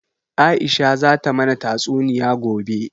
Aisha zata mana tatsuniya gobe